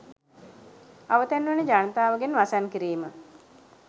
අවතැන් වන ජනතාව ගෙන් වසන් කිරීම